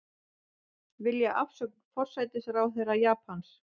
Vilja afsögn forsætisráðherra Japans